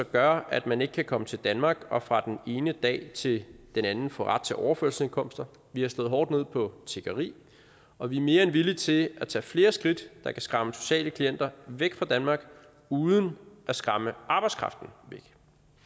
gør at man ikke kan komme til danmark og fra den ene dag til den anden få ret til overførselsindkomster vi har slået hårdt ned på tiggeri og vi er mere end villige til at tage flere skridt der kan skræmme sociale klienter væk fra danmark uden at skræmme arbejdskraften væk